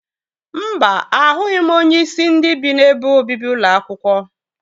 Mba, ahụghị m onyeisi ndị bi n'ebe obibi ụlọ akwụkwọ